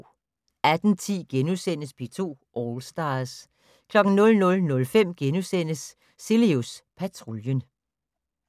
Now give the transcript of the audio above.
18:10: P2 All Stars * 00:05: Cilius Patruljen *